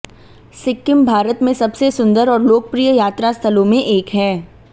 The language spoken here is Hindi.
सिक्किम भारत में सबसे सुंदर और लोकप्रिय यात्रा स्थलों में एक है